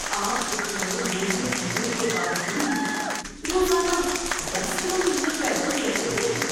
آپ اتنے بوڑھے ہونے کے باوجود بھی روزانہ دس کلومیٹر پیدل چل لیتے ہیں؟